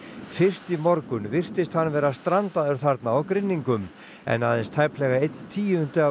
fyrst í morgun virtist hann vera strandaður þarna á grynningum en aðeins tæplega einn tíundi af